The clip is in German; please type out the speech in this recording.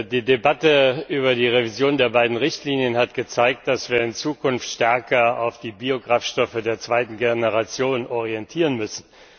Die Debatte über die Revision der beiden Richtlinien hat gezeigt, dass wir in Zukunft stärker auf die Biokraftstoffe der zweiten Generation hin orientieren müssen.